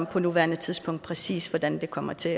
på nuværende tidspunkt præcis hvordan det kommer til